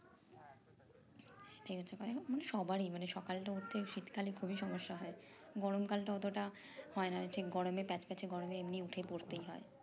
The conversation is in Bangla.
মানে সবারির মানে সকালটা উঠতে শীতকালে খুবই সমস্যা হয় গরম কালটা অতটা তা হয় না ঠিক গরমে প্যাচ প্যাচে গরমে এমনি উঠে পড়তেই হয়